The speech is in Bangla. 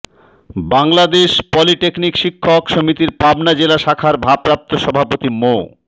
বাংলাদেশ পলিটেকনিক শিক্ষক সমিতির পাবনা জেলা শাখার ভারপ্রাপ্ত সভাপতি মো